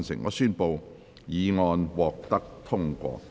我宣布議案獲得通過。